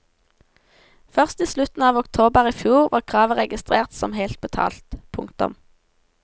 Først i slutten av oktober i fjor var kravet registrert som helt betalt. punktum